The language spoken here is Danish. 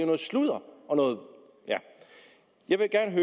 noget sludder jeg vil gerne